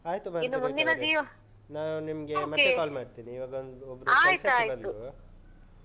ಆಯ್ತು ಮಾರ್ಗರೇಟ್ ಅವರೆ. ನಾನು ನಿಮ್ಗೆ ಮತ್ತೆ call ಮಾಡ್ತೀನಿ. ಇವಾಗ ಒಂದು. ಒಬ್ರು ಕೆಲ್ಸಕ್ಕೆ ಬಂದ್ರು.